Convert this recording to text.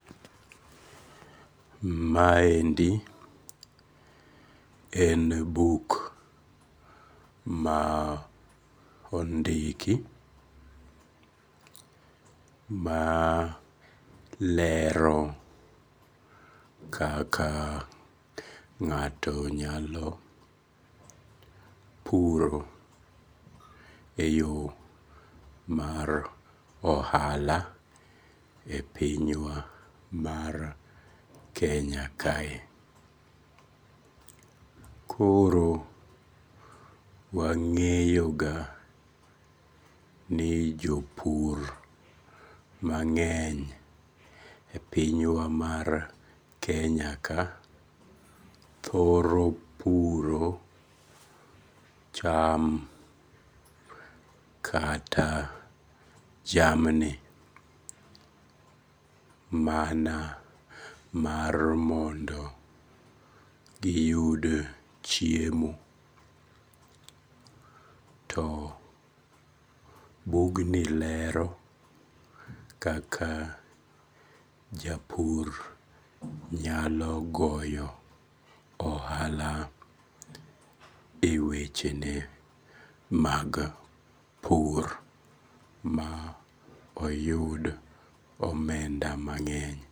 Maendi en buk ma ondiki ma lero kaka ng'ato nyalo puro e yo mar ohala e pinywa mar Kenya kae, koro wang'eyoga ni jo pur mang'eny e pinywa mar Kenya kae thoro puro cham kata jamni mana mar mondo giyud chiemo, to bugni lero kaka japur nyalo goyo ohala e wechene mag pur ma oyud omenda mang'eny